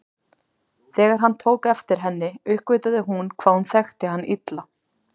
Þegar hann tók eftir henni uppgötvaði hún hvað hún þekkti hann illa.